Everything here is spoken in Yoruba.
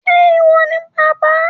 ṣe iwọ ni bàbà?